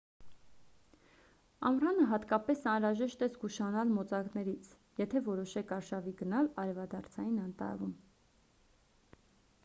ամռանը հատկապես անհրաժեշտ է զգուշանալ մոծակներից եթե որոշեք արշավի գնալ արևադարձային անտառում